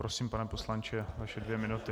Prosím, pane poslanče, vaše dvě minuty.